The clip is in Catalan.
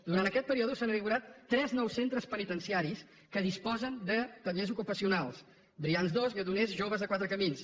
durant aquest període s’han inaugurat tres nous centres penitenciaris que disposen de tallers ocupacionals brians dos lledoners joves a quatre camins